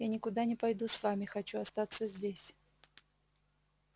я никуда не пойду с вами хочу остаться здесь